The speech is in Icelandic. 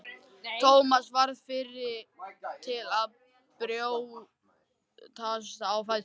Thomas varð fyrri til að brjótast á fætur.